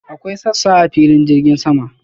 Akwai sassa a filin jirgin sama.